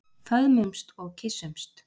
Föðmumst og kyssumst.